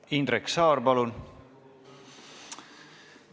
Indrek Saar, palun!